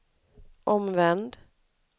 omvänd